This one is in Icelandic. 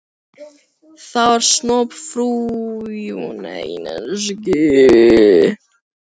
Það var snoppufríð stúlka af slæmri ætt og fávís.